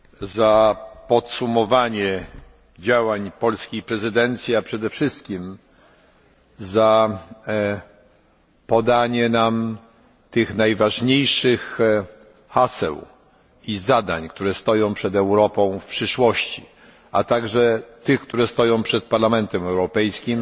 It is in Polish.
za podsumowanie działań polskiej prezydencji, a przede wszystkim za przedstawienie nam tych najważniejszych haseł i zadań, które stoją przed Europą w przyszłości, a także tych, które stoją przed Parlamentem Europejskim